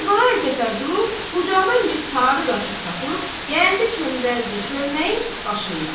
Kərbəlayı Cəfər durub bucaqdan bir sarı qaşıq tapıb, gəldi çöməldi çölməyin başında.